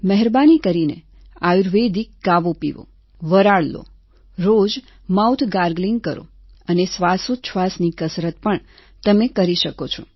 મહેરબાની કરીને આયુર્વેદિક કાવો પીવો વરાળ લો રોજ માઉથ ગાર્ગલિંગ કરો અને શ્વાસોચ્છવાસની કસરત પણ તમે કરી શકો છો